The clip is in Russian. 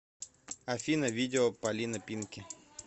афина видео палина пинки